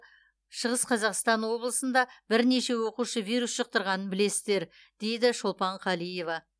шығыс қазақстан облысында бірнеше оқушы вирус жұқтырғанын білесіздер дейді шолпан қалиева